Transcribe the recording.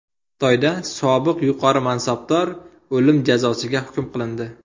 Xitoyda sobiq yuqori mansabdor o‘lim jazosiga hukm qilindi.